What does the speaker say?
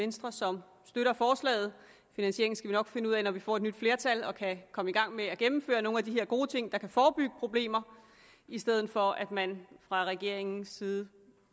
venstre som støtter forslaget finansieringen skal vi nok finde ud af når vi får et nyt flertal og kan komme i gang med at gennemføre nogle af de her gode ting der kan forebygge problemer i stedet for som man fra regeringens side